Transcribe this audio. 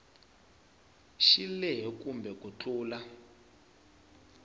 xi lehe kome ku tlula